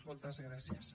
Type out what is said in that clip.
moltes gràcies